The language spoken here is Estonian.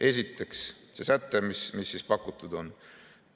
Esiteks, see säte, mis pakutud on.